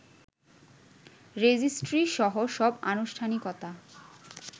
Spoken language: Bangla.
রেজিস্ট্রিসহ সব আনুষ্ঠানিকতা